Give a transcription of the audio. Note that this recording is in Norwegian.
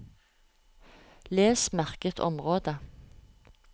Les merket område